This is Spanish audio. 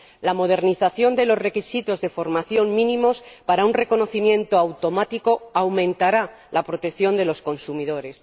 la modernización de los requisitos de formación mínimos para un reconocimiento automático aumentará la protección de los consumidores